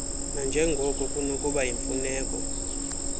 nanjengoko kunokuba yimfuneko